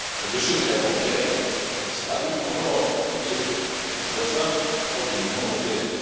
Le secret bancaire a disparu en Europe, y compris chez nos voisins hors de l'Union européenne.